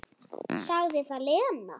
Sagði það, Lena.